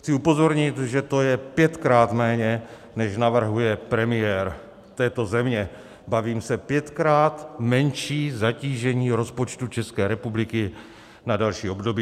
Chci upozornit, že to je pětkrát méně, než navrhuje premiér této země, bavím se, pětkrát menší zatížení rozpočtu České republiky na další období.